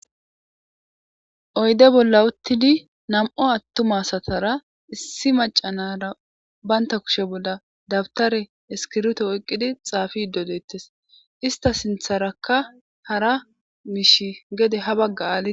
Oyidey bolla utidi na'mu maca na'ara bata kushe bolla dawutare isikirito oyikidi xapishe de'etes isita sinitharaka hara mishi gede habaga